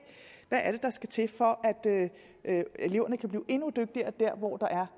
hvad det er der skal til for at eleverne kan blive endnu dygtigere der hvor der er